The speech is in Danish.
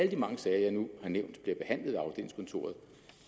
de mange sager jeg nu har nævnt bliver behandlet ved afdelingskontoret